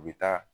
U bɛ taa